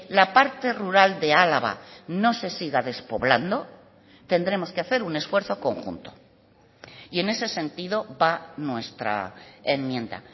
la parte rural de álava no se siga despoblando tendremos que hacer un esfuerzo conjunto y en ese sentido va nuestra enmienda